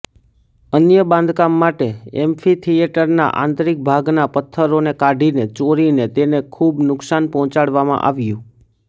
અન્ય બાંધકામ માટે એમ્ફીથીએટરના આંતરીક ભાગના પથ્થરોને કાઢીને ચોરીને તેને ખૂબ નુકશાન પહોંચાડવામાં આવ્યું